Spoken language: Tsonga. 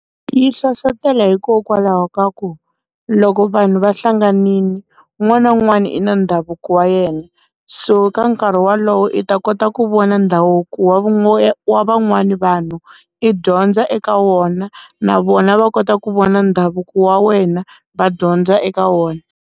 Yi hlohlotelo hikokwalaho ka ku loko vanhu va hlanganile un'wana na un'wana i na ndhavuko wa yena so ka nkarhi wolowo i ta kota ku vona ndhavuko wa vona wa van'wani vanhu i dyondza eka wona na vona va kota ku vona ndhavuko wa wena va dyondza eka wona.